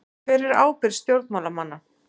Hver er ábyrgð stjórnmálamanna?